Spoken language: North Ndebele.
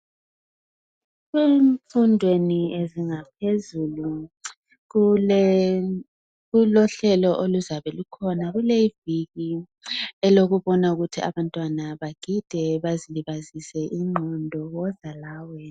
emfundweni ezingaphezulu kulohlelo oluzabe lukhona idili elokubona ukuthi abantwana bagida bazilibazise ingqondo woza lawe